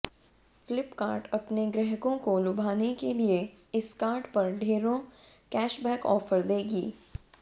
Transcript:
फ्लिपकार्ट अपने ग्राहकों को लुभाने के लिए इस कार्ड पर ढेरों कैशबैक ऑफर देगी